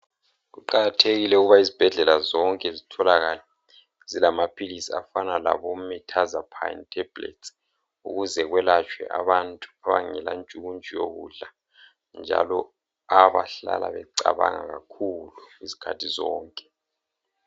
Kuqakathekile ukuba izibhedlela zonke zitholakale zilamaphilisi afana leMirtazapine tablets ukuze kwelatshwe abantu abangela ntshukutshu yokudla njalo abahlala becabanga kakhulu izikhathi zonke.